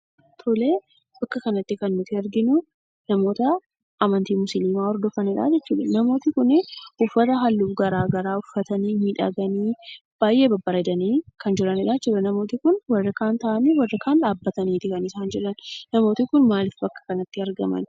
Tolee, bakka kanatti kan nuti arginuu namoota amantii musliimaa hordofanidhaa jechuudha. Namooti kunii uffata halluu garagaraa uffatanii miidhaganii baayyee babbareedanii kan jiranidhaa jechuudha. Namooti kun warri kaan daabbatanii warri kaan ammoo taa'aniitu kan isaan jiran. Namooti kun maaliif bakka kanatti argaman?